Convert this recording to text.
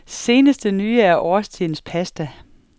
Seneste nye er årstidens pasta.